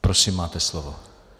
Prosím, máte slovo.